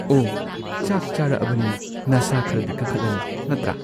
ꯑꯣ ꯆꯥꯛ ꯆꯥꯔꯛꯑꯕꯅꯤꯅ ꯅꯁꯥ ꯈꯔꯗꯤ ꯀꯟꯈꯠꯂꯅꯤ ꯅꯠꯇ꯭ꯔꯥ